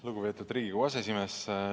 Lugupeetud Riigikogu aseesimees!